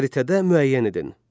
Xəritədə müəyyən edin.